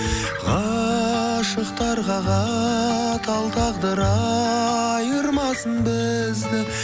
ғашықтарға қатал тағдыр айырмасын бізді